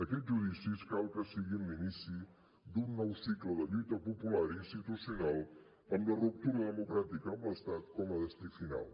aquests judicis cal que siguin l’inici d’un nou cicle de lluita popular i institucional amb la ruptura democràtica amb l’estat com a destí final